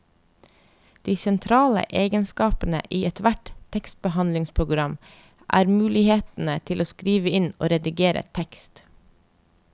De sentrale egenskapene i ethvert tekstbehandlingsprogram er mulighetene til å skrive inn og redigere tekst.